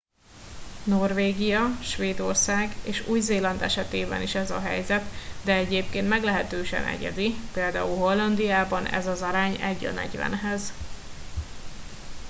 norvégia svédország és új-zéland esetében is ez a helyzet de egyébként meglehetősen egyedi például hollandiában ez az arány egy a negyvenhez